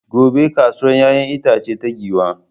Gobe ​​kasuwar 'ya'yan itace ta Giwa.